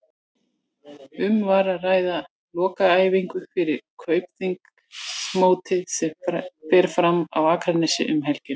Um var að ræða lokaæfingu fyrir Kaupþings mótið sem fer fram á Akranesi um helgina.